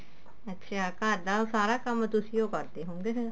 ਅੱਛਾ ਘਰ ਦਾ ਸਾਰਾ ਕੰਮ ਤੁਸੀਂ ਓ ਕਰਦੇ ਹੋਉਂਗੇ ਫੇਰ